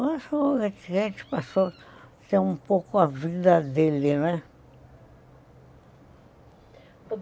Mas o Roquete passou a ter um pouco a vida dele, né?